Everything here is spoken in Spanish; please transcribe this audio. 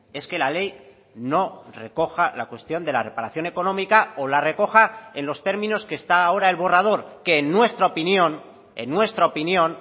es que la ley no recoja la cuestión de la reparación económica o la recoja en los términos que está ahora el borrador que en nuestra opinión en nuestra opinión